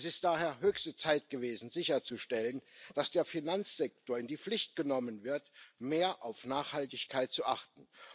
Es ist daher höchste Zeit gewesen sicherzustellen, dass der Finanzsektor in die Pflicht genommen wird, mehr auf Nachhaltigkeit zu achten.